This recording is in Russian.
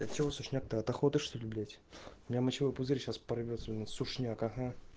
от чего сушняк то от охоты что-ли блять у меня мочевой пузырь сейчас порвётся у нее сушняк ага